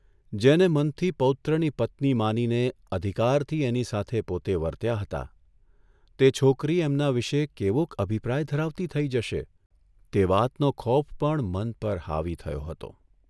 જેને મનથી પૌત્રની પત્ની માનીને અધિકારથી એની સાથે પોતે વર્ત્યા હતા તે છોકરી એમના વિશે કેવોક અભિપ્રાય ધરાવતી થઇ જશે તે વાતનો ખોફ પણ મન પર હાવી થયો હતો.